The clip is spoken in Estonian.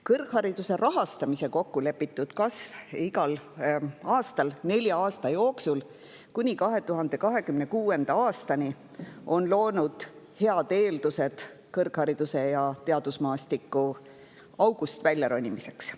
Kõrghariduse rahastamise kokkulepitud kasv igal aastal nelja aasta jooksul kuni 2026. aastani on loonud head eeldused kõrghariduse ja teadusmaastiku august väljaronimiseks.